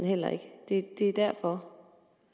heller ikke det er derfor